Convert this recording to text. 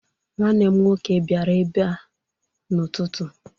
Nnwanne m nwoke bịara ebe a n'ụtụtụ.